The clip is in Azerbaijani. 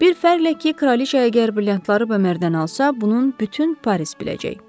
Bir fərqlə ki, Kraliçə əgər brilliantları Bömərdən alsa, bunun bütün Paris biləcək.